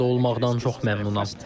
Mən burda olmaqdan çox məmnunam.